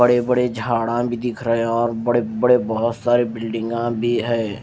बड़े बड़े झाड़ा भी दिख रहे हैं और बड़े बड़े बहुत सारे बिल्डिंगां भी है।